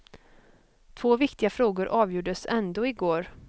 Två viktiga frågor avgjordes ändå i går.